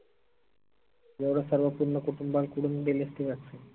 एवढं सर्व पूर्ण कुटुंबांकरून वाट्टे